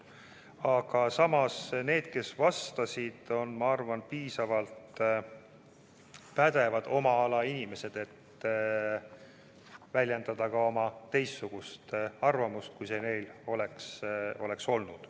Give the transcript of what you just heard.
Aga samas need, kes vastasid, on, ma arvan, piisavalt pädevad oma ala inimesed, et väljendada ka teistsugust arvamust, kui see neil oleks olnud.